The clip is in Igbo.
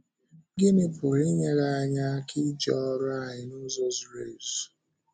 Gịnị pụrụ inyere anyị aka ịje ọ́rụ ahụ n’ụzọ zuru ezu?